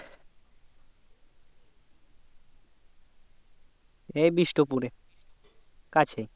এই বিষ্টপুরে কাছেই